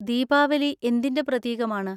ദീവാലി എന്തിന്‍റെ പ്രതീകമാണ്?